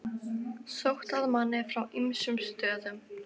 Sótt að manni frá ýmsum stöðum.